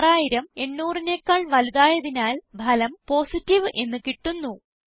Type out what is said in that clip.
6000 800നെക്കാൾ വലുതായതിനാൽ ഫലം പോസിറ്റീവ് എന്ന് കിട്ടുന്നു